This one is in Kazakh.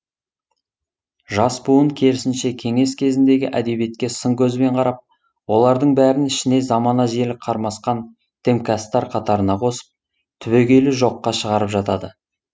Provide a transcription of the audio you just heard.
жас буын керісінше кеңес кезеңіндегі әдебиетке сын көзбен қарап олардың бәрін ішіне замана желі қармасқан дімкәстар қатарына қосып түбегейлі жоққа шығарып жатады